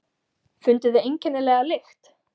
Funduð þið einkennilega lykt?